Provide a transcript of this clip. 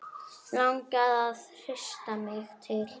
Langar að hrista mig til.